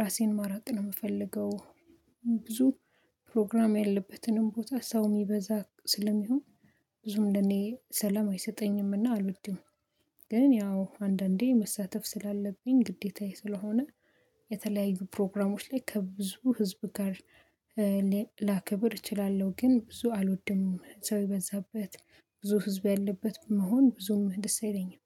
ራሴን ማራቅ ነው የምፈልገው። ብዙ ፕሮግራም ያለበትንም ቦታ ሰው የሚበዛ ስለሚሆን ብዙም ለኔ ሰላም አይሰጠኝምና አልወድም። ግን ያው አንዳንዴ መሳተፍ ስላለብኝ ግዴታዬ ስለሆነ። የተለያዩ ፕሮግራሞች ላይ ከብዙ ህዝብ ጋር ላከብር እችላለሁ። ግን ብዙ አልወድም ሰው የበዛበት ብዙ ህዝብ ያለበት መሆን ብዙም ደስ አይለኝም